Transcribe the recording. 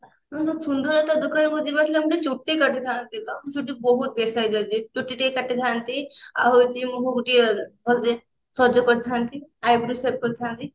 ମୋର ସୁନ୍ଦରତା ଦୋକାନ କୁ ଯିବାର ଥିଲା ମୁଁ ଟିକେ ଚୁଟି କାଟିଥାନ୍ତି ବା ଚୁଟି ବହୁତ ବେ size ଅଛି ଚୁଟି ଟିକେ କାଟିଥାନ୍ତି ଆଉ ହଉଛି ମୁଁ ଟିକେ ଭଲସେ ସଜ କରିଥାନ୍ତି eyebrow shape କରିଥାନ୍ତି